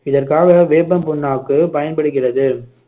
இதற்காக வேப்பம் புண்ணாக்கு பயன்படுகிறது